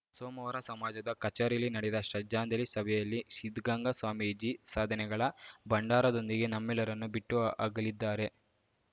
ಸೋಮವಾರ ಸಮಾಜದ ಕಚೇರಿಯಲ್ಲಿ ನಡೆದ ಶ್ರದ್ಧಾಂಜಲಿ ಸಭೆಯಲ್ಲಿ ಸಿದ್ಧಗಂಗಾ ಸ್ವಾಮೀಜಿ ಸಾಧನೆಗಳ ಭಂಡಾರದೊಂದಿಗೆ ನಮ್ಮೆಲ್ಲರನ್ನೂ ಬಿಟ್ಟು ಅಗಲಿದ್ದಾರೆ